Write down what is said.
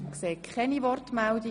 – Ich sehe keine Wortmeldungen.